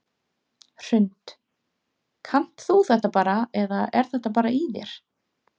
Hrund: Kannt þú þetta bara eða er þetta bara í þér?